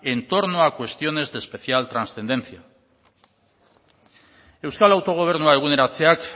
en torno a cuestiones de especial transcendencia euskal autogobernua eguneratzeak